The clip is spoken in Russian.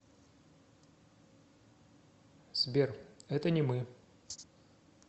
сбер это не мы